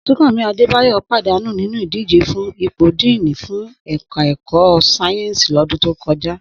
Súnkànmí Adébáyọ̀ pàdánù nínú ìdíje fún ipò díìnì fún ẹ̀ka ẹ̀kọ́ sáyẹ́ǹsì lọ́dún tó kọjá